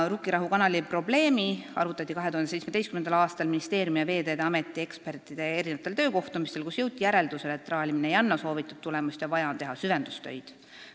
Rukkirahu kanali probleemi arutati 2017. aastal ministeeriumi ja Veeteede Ameti ekspertide töökohtumistel, kus jõuti järeldusele, et traalimine ei anna soovitud tulemust ja vaja on teha süvendustöid.